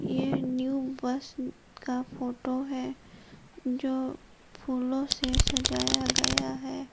यह new bus का photo है जो फूलों से सजाया गया है।